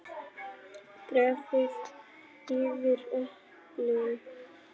Dreifið yfir eplin.